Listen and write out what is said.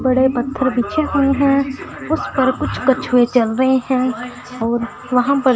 बड़े पत्थर बिछे हुए है उसपर कुछ कछुए चल रहे है और वहां पर--